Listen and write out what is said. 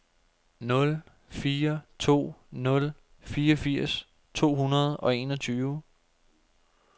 nul fire to nul fireogfirs to hundrede og enogtyve